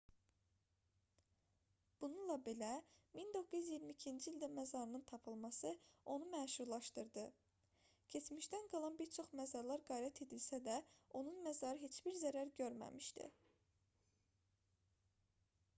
bununla belə 1922-ci ildə məzarının tapılması onu məşhurlaşdırdı keçmişdən qalan bir çox məzarlar qarət edilsə də onun məzarı heç bir zərər görməmişdi